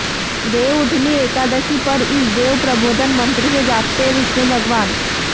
देवउठनी एकादशी पर इस देव प्रबोधन मंत्र से जागते हैं विष्णु भगवान